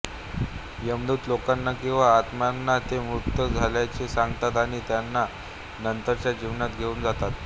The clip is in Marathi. यमदूत लोकांना किंवा आत्म्यांना ते मृत झाल्याचे सांगतात आणि त्यांना नंतरच्या जीवनात घेऊन जातात